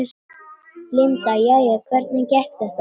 Linda: Jæja, hvernig gekk þetta?